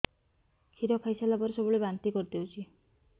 କ୍ଷୀର ଖାଇସାରିଲା ପରେ ସବୁବେଳେ ବାନ୍ତି କରିଦେଉଛି